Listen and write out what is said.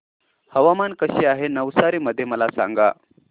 हवामान कसे आहे नवसारी मध्ये मला सांगा